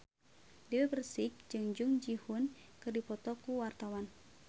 Dewi Persik jeung Jung Ji Hoon keur dipoto ku wartawan